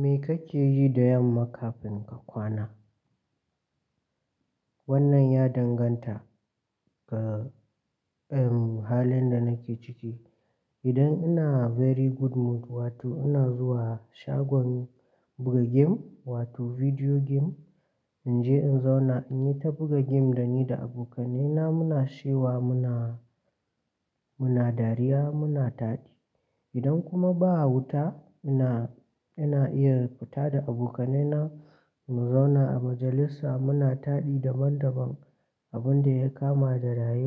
Me kake yi da yamma kafin ka kwana? Wannan ya danganta ga, halin da nake ciki. Idan ina very good mood, wato ina zuwa shagon buga game, wato video game, in je in zauna in yi ta buga game dani da abokaina muna shewa, muna, muna dariya, muna taɗi. Idan kuma ba a wuta, ina, ina iya fita da abokaina, mu zauna a majalisa muna taɗi daban-daban abun da ya kama da ray,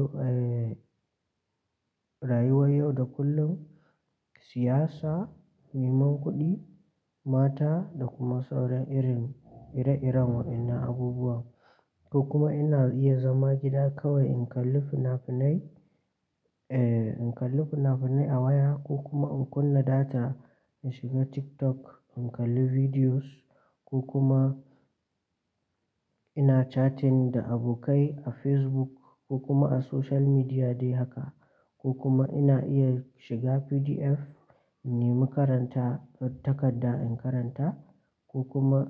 rayuwar yau da kullum, siyasa, neman kuɗi, mata, da kuma sauran irin ire-iren waɗannan abubuwa. Ko kuma ina iya zama gida kawai in kalli fina-finai, eh, in kalli fina-finai a waya ko kuma in kunna data in shiga TikTok in kalli videos ko kuma ina chatting da abokai a Facebook ko kuma a social media dai haka. Ko kuma ina iya shiga PDF in nemi karanta takarda in karanta ko kuma,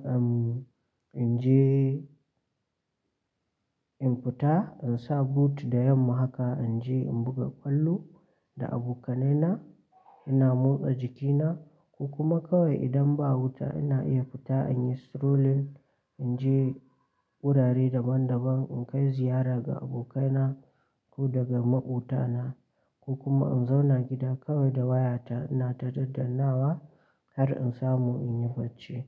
in je in fita, in sa boot da yamma haka in je in buga ƙwallo da abokaina, ina motsa jikina. Ko kuma kawai idan ba a wuta ina iya fita in yi strolling, in je wurare daban-daban in kai ziyara ga abokaina ko daga maƙotana, ko kuma in zauna gida kawai da wayata ina ta dandannawa har in samu in yi barci.